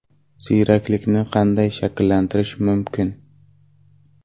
Ziyraklikni qanday shakllantirish mumkin?